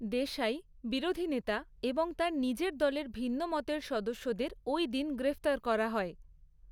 দেশাই, বিরোধী নেতা এবং তার নিজের দলের ভিন্নমতের সদস্যদের ওই দিন গ্রেফতার করা হয়।